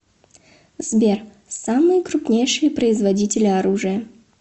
сбер самые крупнейшие производители оружия